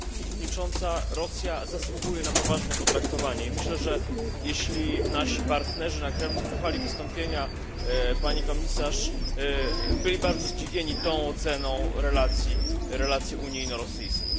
Pani przewodnicząca! Rosja zasługuje na poważne potraktowanie. Myślę, że jeśli nasi partnerzy na Kremlu słuchali wystąpienia pani Komisarz, byli bardzo zdziwieni tą oceną relacji unijno rosyjskich.